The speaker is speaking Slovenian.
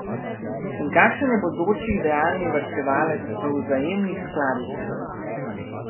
In kakšen je bodoči idealni varčevalec v vzajemnih skladih?